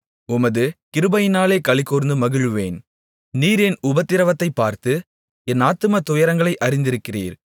உமது கிருபையிலே களிகூர்ந்து மகிழுவேன் நீர் என் உபத்திரவத்தைப் பார்த்து என் ஆத்தும துயரங்களை அறிந்திருக்கிறீர்